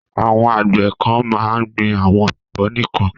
Àwọn àgbẹ̀ kan máa ń gbin àwọn ẹ̀fọ́ nìkan.